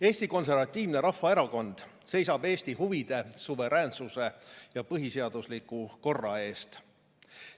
Eesti Konservatiivne Rahvaerakond seisab Eesti huvide, suveräänsuse ja põhiseadusliku korra eest.